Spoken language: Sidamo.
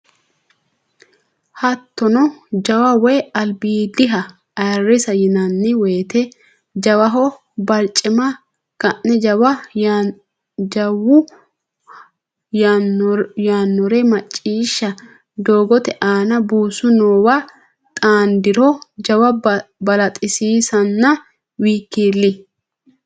Haattono jawa woy albiidiha ayirrisa yinanni woyte jawaho barcima ka ne jawu yaannore macciishsha doogote aana buusu noowa xaandiro jawa balaxisiisanna w k l.